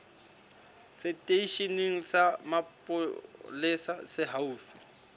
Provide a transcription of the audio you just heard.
seteisheneng sa mapolesa se haufi